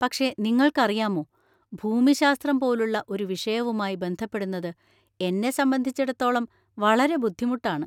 പക്ഷേ നിങ്ങൾക്കറിയാമോ, ഭൂമിശാസ്ത്രം പോലുള്ള ഒരു വിഷയവുമായി ബന്ധപ്പെടുന്നത് എന്നെ സംബന്ധിച്ചിടത്തോളം വളരെ ബുദ്ധിമുട്ടാണ്.